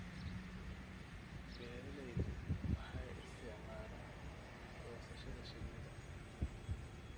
Beeraleydu waxay isticmaalaan goosashada shinnida.